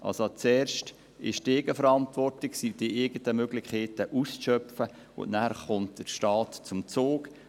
Also: Zuerst ist die Eigenverantwortung, sind die eigenen Möglichkeiten auszuschöpfen, und nachher kommt der Staat zum Zuge.